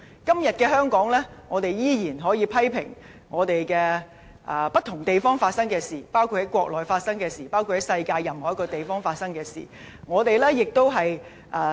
今天在香港，我們依然可以批評不同地方發生的事，包括國內發生的事，包括在世界任何一個地方發生的事。